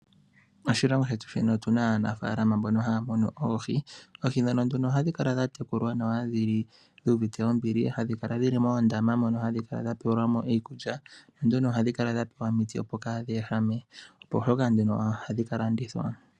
Moshilongo shetu shino otuna aanafalama mbono haya munu oohi. Oohi ndhono nduno ohadhi kala dhatekulwa nawa hadhi li dhuuvite ombili. Hadhi kala dhili moondama mono hadhi kala dhapewelwa mo iikulya. Nanduno ohadhi kala dhapewa omiti opo kaadhi ehame, opo shoka nduno ohadhi kalandithwa.